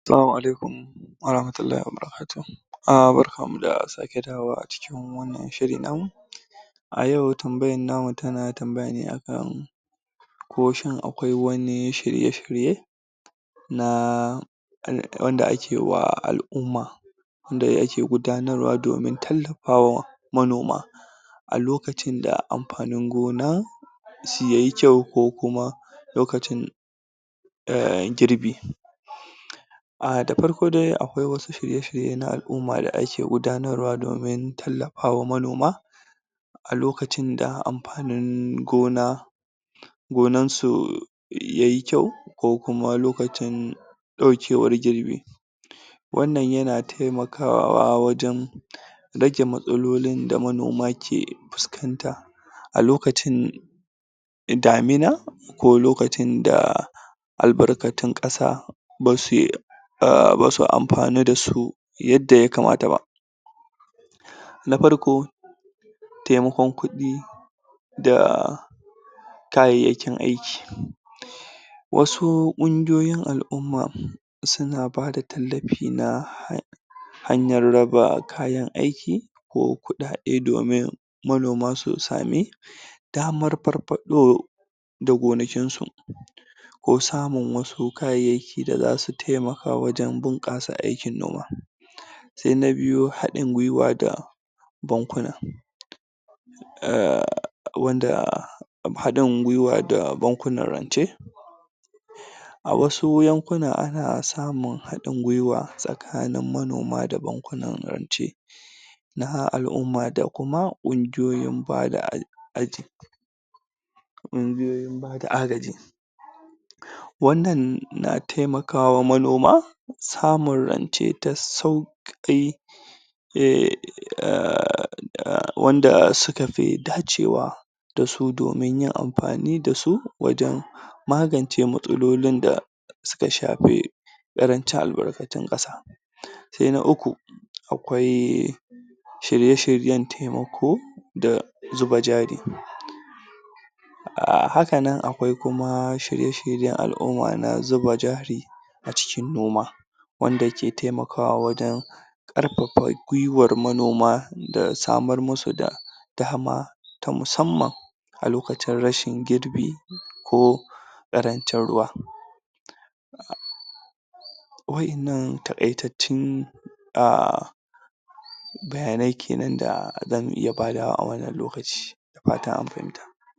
Salamu Alaikum warahmatullahi wabarakatuhu. Uhm barkanmu da sake dawowa a cikin wannan shiri namu. A yau tambayan namu tana tambayane akan ko shin akwai wani shirye-shirye na wanda ake wa al'umma da ake gudanarwa domin tallafa wa manoma a lokacin da amfanin gona yayi kyau ko kuma lokacin uhm girbi Uhm na farko dai akwai wasu shirye-shirye na al'umma da ake gudanarwa domin tallafa wa manoma a lokacin da amfanin gona gonansu yayi kyau ko kuma lokacin ɗaukewar girbi. wannan yana taimakawa wajan rage matsalolin da manoma ke fuskanta a lokacin damina ko lokacin da albarkatun ƙasa basuyi Uhm basu amfanu da su yadda yakamata ba. nafarko taimakon kuɗi da kayayyakin aiki. Wasu ƙungiyoyin al'umma suna bada tallafi na hanyar raba kayan aiki ko kuɗaɗe domin manoma su sami damar farfaɗo da gonakinsu ko samun wasu kayayyaki da za su taimaka wajan bunƙasa aikin noma. Sai na biyu haɗin gwiwa bankuna uhm wanda haɗi haɗin gwiwa da bakunan rance. A wasu yankuna ana samun haɗin gwiwa tsakanin manoma da bankunan rance na al'umma da kuma ƙungiyoyin bada ƙungiyoyin bada agaji. ƙungiyoyin bada agaji. Wannan na taimaka wa manoma samun rance ta sauƙi Uhm uhmm wanda suka fi dacewa da su domin yin amfani da su wajen magance matsalolin da suka shafi ƙarancin albarkacin ƙasa. Sai na uku akwai shirye-shiryen taimako da zuba jari. Hakanan akwai kuma shirye shiryen al'umma na zuba jari acikin noma wandaki taimakawa wajan ƙarfafa gwiwar manoma da samar musu da dama ta musamman a lokacin rashin girbi ko ƙarancin ruwa. Wa'innan taƙaitattun uhm bayanai kenan da zamu iya badawa a wannan lokaci Da fata an fahimta